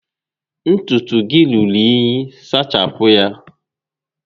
Ntutu gị rúrú únyí, sachapụ ya!